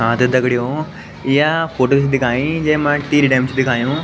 हाँ त दगडियों या फोटो च दिखायीं जैमा टीरी डैम च दिखायुं।